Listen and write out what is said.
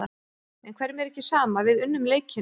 En hverjum er ekki sama, við unnum leikinn.